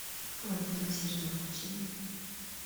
квант милосердия включи мне